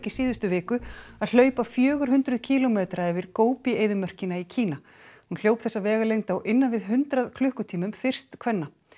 í síðustu viku að hlaupa fjögurhundruð kílómetra yfir eyðimörkina í Kína hún hljóp þessa vegalengd á innan við hundrað klukkutímum fyrst kvenna